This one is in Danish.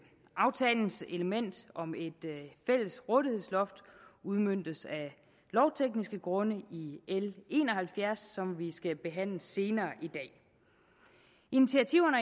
aftalens element om et fælles rådighedsloft udmøntes af lovtekniske grunde i l en og halvfjerds som vi skal behandle senere i dag initiativerne